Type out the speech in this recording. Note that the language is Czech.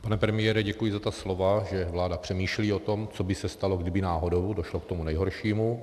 Pane premiére, děkuji za ta slova, že vláda přemýšlí o tom, co by se stalo, kdyby náhodou došlo k tomu nejhoršímu.